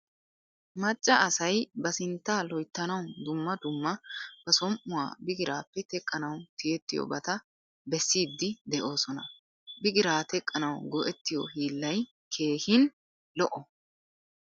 Macca asay ba sintta loyttanawu dumma dumma ba som'uwaa bigirappe teqqanawu tiyettiyobata besiidi deosona. Bigira teqqanawu go'ettiyo hillay keehin lo'o.